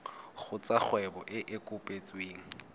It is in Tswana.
kgotsa kgwebo e e kopetsweng